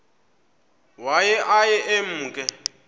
waye aye emke